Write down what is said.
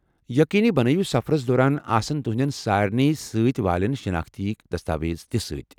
یقینی بنٲوِو سفرس دوران آسن تُہندین سارِنٕے سۭتۍ والین شناختی دستاویز تہِ سۭتۍ ۔